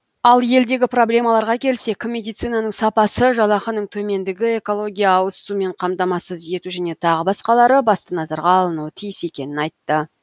ал елдегі проблемаларға келсек медицинаның сапасы жалақының төмендігі экология ауызсумен қамтамасыз ету және тағы басқалары басты назарға алынуы тиіс екенін айтты